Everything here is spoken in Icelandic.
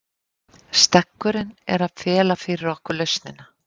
Steggurinn er að fela fyrir okkur lausnina.